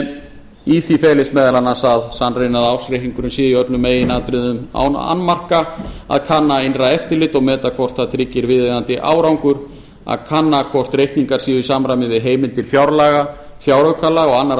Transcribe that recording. en í því felist meðal annars að sannreyna að ársreikningurinn sé í öllum meginatriðum án annmarka að kanna innra eftirlit og meta hvort það tryggir viðeigandi árangur að kanna hvort reikningar séu í samræmi við heimildir fjárlaga fjáraukalaga og annarra